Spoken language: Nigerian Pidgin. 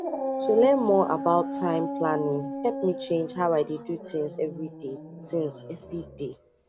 to learn more about time planning help me change how i dey do things every day things every day